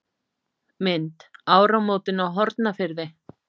Mynd: Áramótin á Hornafirði.